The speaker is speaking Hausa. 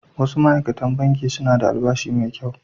Wasu ma’aikatan Bankin suna da albashi mai kyau